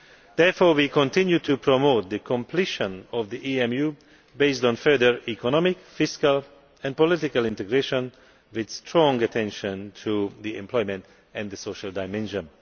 Therefore, we continue to promote the completion of the EMU, based on further economic, fiscal and political integration, with strong attention to the employment and social dimension.